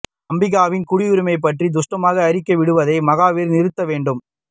அம்பிகாவின் குடியுரிமை பற்றி துஷ்டமான அறிக்கை விடுவதை மகாதீர் நிறுத்த வேண்டும்